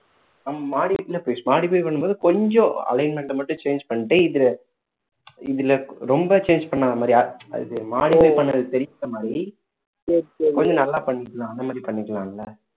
modify பண்ணும் போது கொஞ்சம் alignment அ மட்டும் change பண்ணிட்டு இது இதுல ரொம்ப change பண்ணாத மாதிரி அது modify பண்ணது தெரியாத மாதிரி கொஞ்சம் நல்லா பண்ணிக்கலாம் அந்த மாதிரி பண்ணிக்கலாம் இல்ல